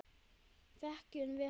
Þekkjum við hana?